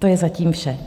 To je zatím vše.